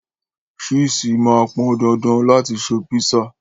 Ṣíìsì máa pọn dandan láti ṣe písà.